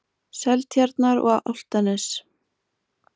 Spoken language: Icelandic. Seltjarnar- og Álftanes.